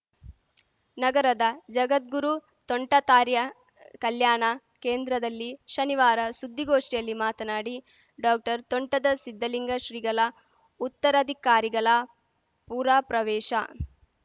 ನಗರದ ಜಗದ್ಗುರು ತೋಂಟತಾರ್ಯ ಕಲ್ಯಾಣ ಕೇಂದ್ರದಲ್ಲಿ ಶನಿವಾರ ಸುದ್ದಿಗೋಷ್ಠಿಯಲ್ಲಿ ಮಾತನಾಡಿ ಡಾಕ್ಟರ್ ತೋಂಟದ ಸಿದ್ಧಲಿಂಗ ಶ್ರೀಗಲ ಉತ್ತರಾಧಿಕಾರಿಗಲ ಪುರಪ್ರವೇಶ